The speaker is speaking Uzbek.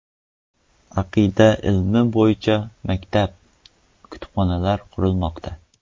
Aqida ilmi bo‘yicha maktab, kutubxona qurilmoqda.